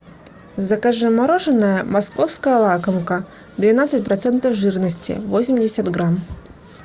закажи мороженое московская лакомка двенадцать процентов жирности восемьдесят грамм